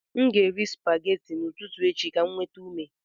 Aga m eri spaghetti n'ụtụtụ echi ka m nweta ume